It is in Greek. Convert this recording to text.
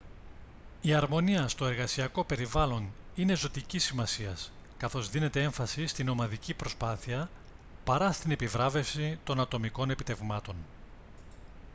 η αρμονία στο εργασιακό περιβάλλον είναι ζωτικής σημασίας καθώς δίνεται έμφαση στην ομαδική προσπάθεια παρά στην επιβράβευση των ατομικών επιτευγμάτων